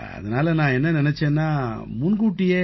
அதனால நான் என்ன நினைச்சேன்னா முன்னமேயே